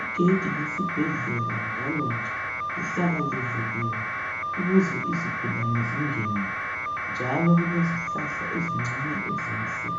Igedi lesibhedlela njalo nje lihlala livuliwe ukuze izigulane zingene njalo kulezihlahla ezincane ezinhle